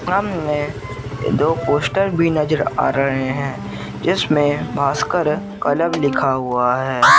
में दो पोस्टर भी नजर आ रहे हैं जिसमें भास्कर क्लब लिखा हुआ है।